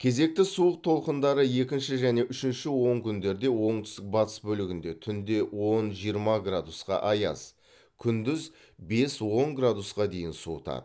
кезекті суық толқындары екінші және үшінші онкүндерде оңтүстік батыс бөлігінде түнде он жиырма градусқа аяз күндіз бес он градусқа дейін суытады